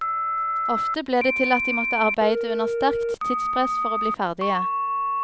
Ofte ble det til at de måtte arbeide under sterkt tidspress for å bli ferdige.